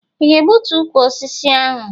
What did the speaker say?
I ga-egbutu ukwu osisi ahụ?